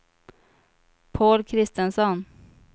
Paul Kristensson